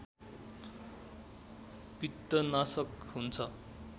पित्तनाशक हुन्छ